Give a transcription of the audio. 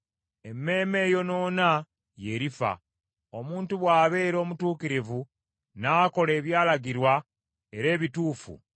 “Emmeeme eyonoona ye erifa, omuntu bw’abeera omutuukirivu n’akola ebyalagirwa era ebituufu;